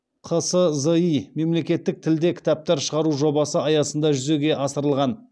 қсзи мемлекеттік тілде кітаптар шығару жобасы аясында жүзеге асырылған